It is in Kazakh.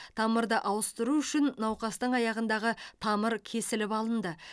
тамырды ауыстыру үшін науқастың аяғындағы тамыр кесіліп алынды